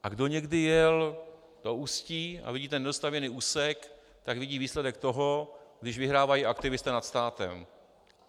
A kdo někdy jel do Ústí a vidí ten nedostavěný úsek, tak vidí výsledek toho, když vyhrávají aktivisté nad státem.